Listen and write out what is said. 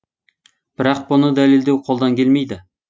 бірақ бұны дәлелдеу қолдан келмейді